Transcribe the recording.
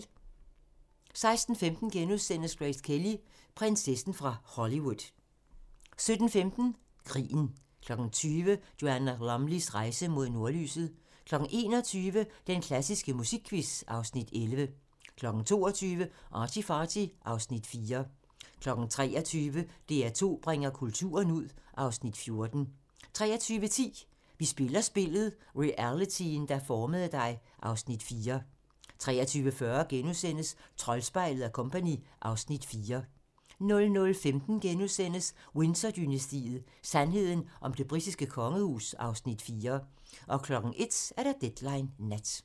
16:15: Grace Kelly: Prinsessen fra Hollywood * 17:10: Krigen 20:00: Joanna Lumleys rejse mod nordlyset 21:00: Den klassiske musikquiz (Afs. 11) 22:00: ArtyFarty (Afs. 4) 23:00: DR2 bringer kulturen ud (Afs. 14) 23:10: Vi spiller spillet - realityen, der formede dig (Afs. 4) 23:40: Troldspejlet & Co. (Afs. 4)* 00:15: Windsor-dynastiet: Sandheden om det britiske kongehus (Afs. 4)* 01:00: Deadline Nat